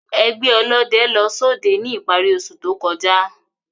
Ẹgbẹ ọlọdẹ lọ sọdẹ ni ipari ose to kọja.